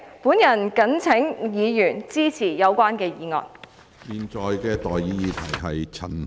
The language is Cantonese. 本人謹請議員支持議案。